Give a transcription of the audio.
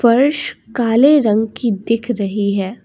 फर्श काले रंग की दिख रही है।